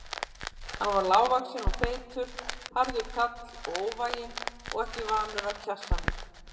Hann var lágvaxinn og feitur, harður kall og óvæginn og ekki vanur að kjassa mig.